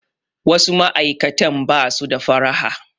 Wasu ma'aikatan ba su da faraha.